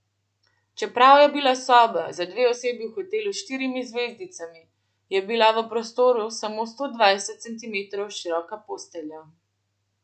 Čeprav je bila soba za dve osebi v hotelu s štirimi zvezdicami, je bila v prostoru samo sto dvajset centimetrov široka postelja.